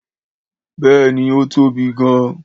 Béèni, ó tóbi gan